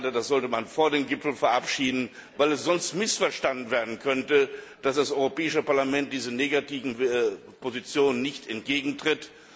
Das sollte man vor dem Gipfel verabschieden, weil es sonst missverstanden werden könnte, dass das Europäische Parlament diesen negativen Positionen nicht entgegentritt.